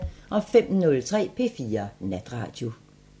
05:03: P4 Natradio